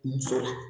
Muso la